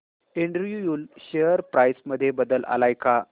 Andrew Yule share price मध्ये बदल आलाय का